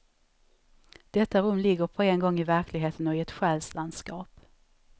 Detta rum ligger på en gång i verkligheten och är ett själslandskap.